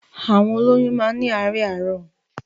Àwọn òlòyún mà ni àaárẹ̀ àrọ